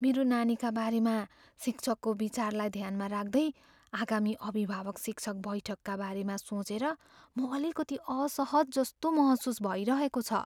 मेरो नानीका बारेमा शिक्षकको विचारलाई ध्यानमा राख्दै आगामी अभिभावक शिक्षक बैठकका बारेमा सोचेर म अलिकति असहज जस्तो महसुस भइरहेको छ।